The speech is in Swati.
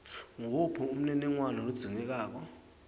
nguwuphi umniningwano lodzingekako